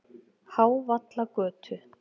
Hávallagötu